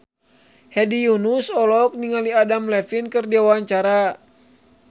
Hedi Yunus olohok ningali Adam Levine keur diwawancara